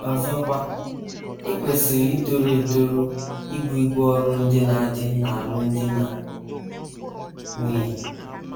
Ọzọkwa, i kwesịrị itoru etoru ibu ibu ọrụ ndị na - adị n’alụmdi na nwunye.